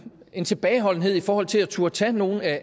en tilbageholdenhed i forhold til at turde tage nogle af